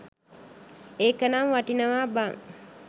ඒකනම් වටිනවා බන්.